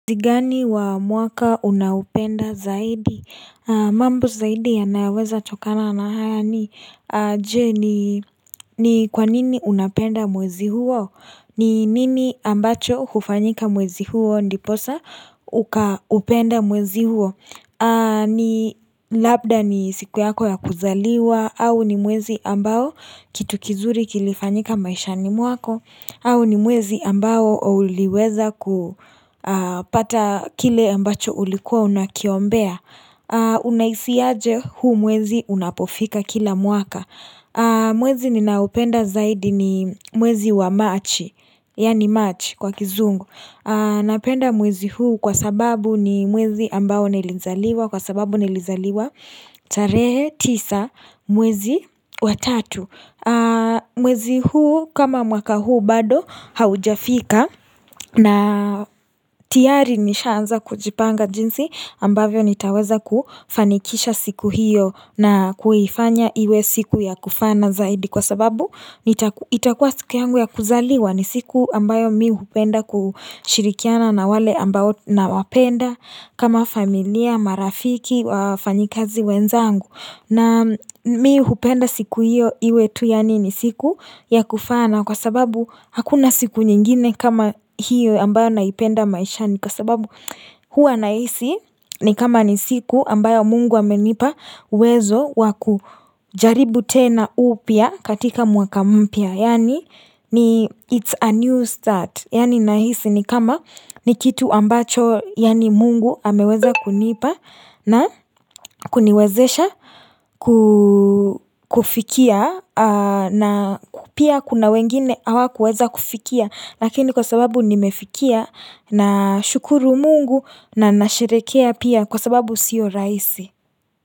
Ni gani wa mwaka unaopenda zaidi? Mambo zaidi yanayoweza tokana na haya ni Je ni kwanini unapenda mwezi huo? Ni nini ambacho hufanyika mwezi huo ndiposa Ukaupenda mwezi huo? Ni labda ni siku yako ya kuzaliwa au ni mwezi ambao kitu kizuri kilifanyika maisha ni mwako au ni mwezi ambao uliweza kupata kile ambacho ulikuwa unakiombea Unahisi aje huu mwezi unapofika kila mwaka mwezi ninaupenda zaidi ni mwezi wa machi Yaani march kwa kizungu Napenda mwezi huu kwa sababu ni mwezi ambao nilizaliwa Kwa sababu nilizaliwa tarehe tisa mwezi watatu mwezi huu kama mwaka huu bado haujafika na tiari nishaanza kujipanga jinsi ambavyo nitaweza kufanikisha siku hiyo na kuifanya iwe siku ya kufana zaidi Kwa sababu itakuwa siku yangu ya kuzaliwa ni siku ambayo mi hupenda kushirikiana na wale ambao na wapenda kama familia, marafiki, wafanyikazi wenzangu na mi hupenda siku hiyo iwe tu yaani ni siku ya kufana kwa sababu hakuna siku nyingine kama hiyo ambayo naipenda maishani kwa sababu huwa nahisi ni kama ni siku ambayo mungu amenipa uwezo waku jaribu tena upya katika mwaka mpya. Yaani ni it's a new start Yaani nahisi ni kama ni kitu ambacho yaani mungu ameweza kunipa na kuniwezesha kufikia na pia kuna wengine hawa kuweza kufikia Lakini kwa sababu nimefikia na shukuru mungu na nasherehekea pia kwa sababu sio rahisi.